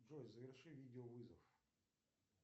джой заверши видеовызов